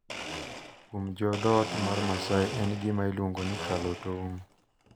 Kuom jo dhoot mar Maasai en gima iluongo ni "kalo tong`"